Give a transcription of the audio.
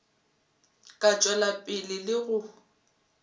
ka tšwela pele le go